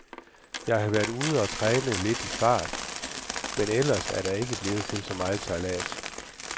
Jeg har været ude og træne lidt fart, men ellers er det ikke blevet til så meget sejlads.